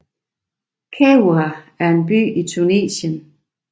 Kairouan er en by i Tunesien